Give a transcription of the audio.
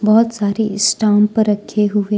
बहुत सारी स्टम्प रखे हुए--